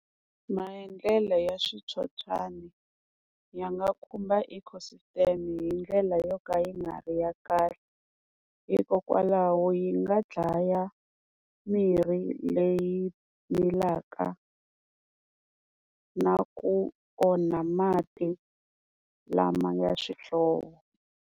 Maendlelo ya switsotswani ya nga khumba ecosystem hi ndlela yo ka yi nga ri ya kahle, hikokwalaho yi nga dlaya mirhi leyi milaka na ku onha mati lama ya swihlovo.